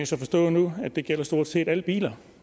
så forstå nu at det gælder stort set alle biler